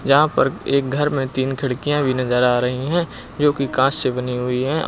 जहां पर एक घर में तीन खिड़कियां भी नजर आ रही हैं जोकि कांच से बनी हुई हैं औ --